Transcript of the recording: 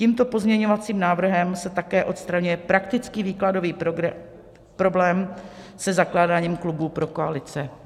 Tímto pozměňovacím návrhem se také odstraňuje praktický výkladový problém se zakládáním klubů pro koalice.